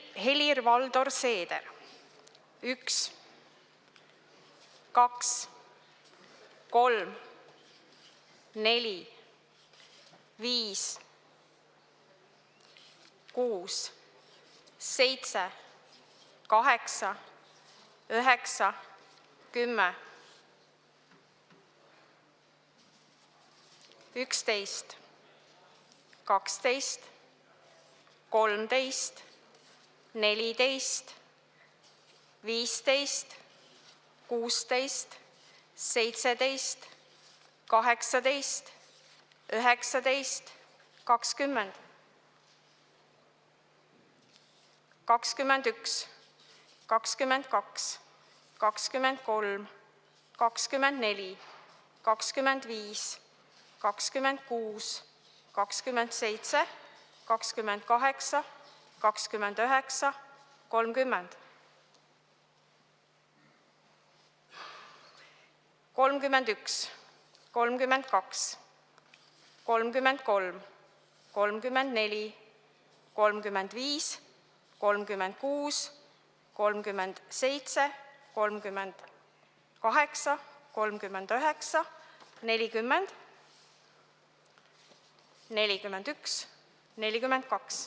Helir-Valdor Seeder: 1, 2, 3, 4, 5, 6, 7, 8, 9, 10, 11, 12, 13, 14, 15, 16, 17, 18, 19, 20, 21, 22, 23, 24, 25, 26, 27, 28, 29, 30, 31, 32, 33, 34, 35, 36, 37, 38, 39, 40, 41, 42.